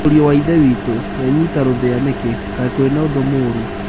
Mũriũ wa ithe witũ, wenyita rũthĩa nĩkĩ, kai kwĩna ũndũ mũũrũ?